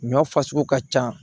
Ɲɔ fasugu ka ca